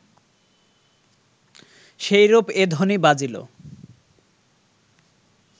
সেইরূপ এ ধ্বনি বাজিল